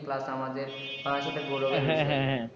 Plus আমাদের পড়াটাতে গৌরবের বিষয়